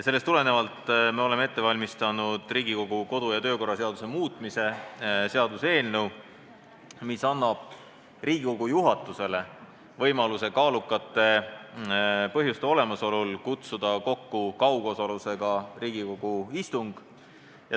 Sellest tulenevalt oleme ette valmistanud Riigikogu kodu- ja töökorra seaduse muutmise seaduse eelnõu, mis annab Riigikogu juhatusele võimaluse kaalukate põhjuste olemasolul kutsuda kokku kaugosalusega Riigikogu istung.